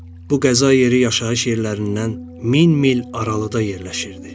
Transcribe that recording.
Bu qəza yeri yaşayış yerlərindən min mil aralıda yerləşirdi.